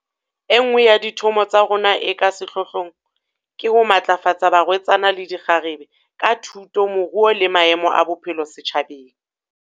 E nngwe ya dithomo tsa rona e ka sehlohlong ke ho matlafatsa barwetsana le dikgarebe, ka thuto, moruo le maemo a bophelo setjhabeng.